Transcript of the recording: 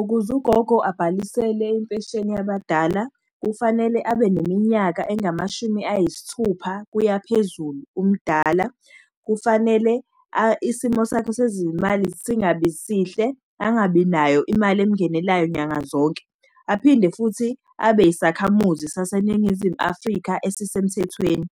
Ukuze ugogo abhalisele impesheni yabadala, kufanele abe neminyaka engamashumi ayisithupha kuyaphezulu umdala. Kufanele isimo sakho sezimali singabi sihle, angabinayo imali emngenelayo nyanga zonke. Aphinde futhi abe yisakhamuzi saseNingizimu Afrika esisemthethweni.